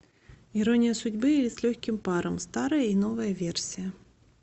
ирония судьбы или с легким паром старая и новая версия